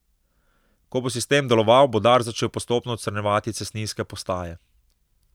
Ko bo sistem deloval, bo Dars začel postopno odstranjevati cestninske postaje.